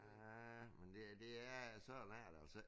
Men det er det er sådan er det altså